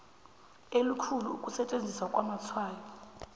elikhulu ukusetjenziswa kwamatshwayo